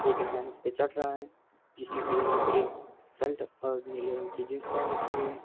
एक इंसान इसपे चढ़ रहा है जिसने पीले रंग के सल्ट और नीले रंग की जींस पहन रखी है।